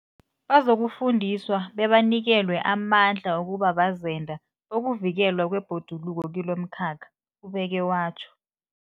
Bazokufundiswa bebanikelwe amandla wokuba bazenda bokuvikelwa kwebhoduluko kilomkhakha, ubeke watjho.